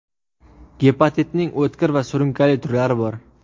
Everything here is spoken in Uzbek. Gepatitning o‘tkir va surunkali turlari bor.